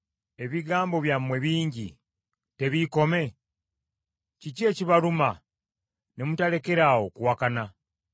Ebigambo byammwe bingi, tebiikome? Kiki ekibaluma ne mutalekeraawo kuwakana?